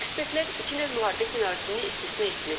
Ekspertlər iki növ müharibə ssenarisini istisna etmir.